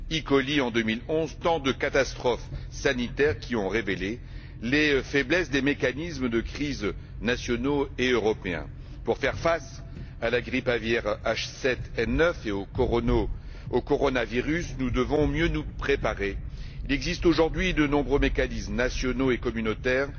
coli, en 2011, sont autant de catastrophes sanitaires qui ont révélé les faiblesses des mécanismes de crises nationaux et européens. Pour faire face à la grippe aviaire H7N9 et au coronavirus, nous devons mieux nous préparer. Il existe aujourd'hui de nombreux mécanismes nationaux et communautaires